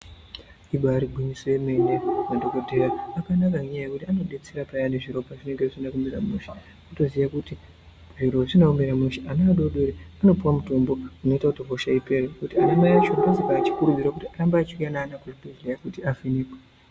Ibaari gwinyiso yemene madhokodheya akanaka ngenyaya yekuti anodetsera peyani zviro pazvinenge zvisina kumira mushe wotoziya kuti zviro zvisina kumira mushe ana adodori anopiwe mutombo unoita kuti hosha ipere kuti ana mai acho anokurudzirwa kuti arambe achiuya neana kuzvibhedhleya kuti avhenekwe.